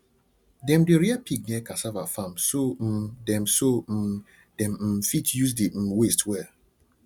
dem dey rear pig near cassava farm so um dem so um dem um fit use the um waste well